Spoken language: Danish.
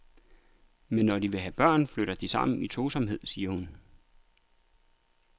Men når de så vil have børn, flytter de sammen i tosomhed, siger hun.